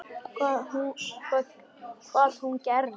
Hvað hún og gerði.